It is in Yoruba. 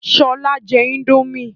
Sọlá jẹ índòmí